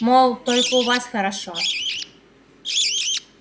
мол только у вас хорошо